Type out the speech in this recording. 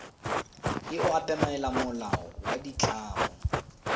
e obamela molao wa ditlamo